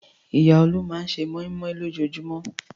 Ìyá Olú máa ṣe mọ́í-mọ́í lójoojúmọ́.